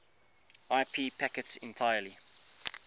ip packets entirely